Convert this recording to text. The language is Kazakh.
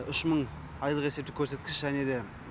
үш мың айлық есептік көрсеткіш және де